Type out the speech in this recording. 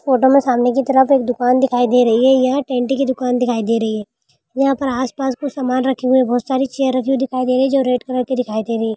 photo में सामने की तरफ एक दुकान दिखाई दे रही है यहां टेंटी की दुकान दिखाई दे रही है यहां आस-पास सामान रखी हुई बहुत सारी चेयर रखी हुई दिखाई दे रही है जो रेड कलर की दिखाई दे रही----